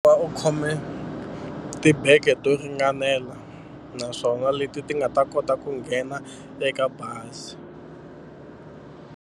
U khome tibege to ringanela naswona leti ti nga ta kota ku nghena eka bazi.